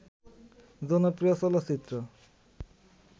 জনপ্রিয় চলচ্চিত্র